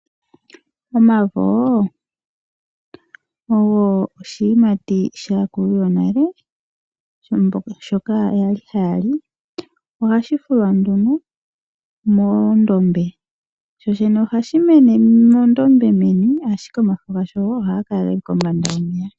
Omavo ogo oshiyimati shaakulu yonale, shoka yali haya li. Ohashi fulwa nduno moondombe. Shooshene ohashi mene mondombe meni, ashike omafo gasho ohaga kala ge li kombanda yomeya.